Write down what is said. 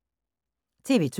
TV 2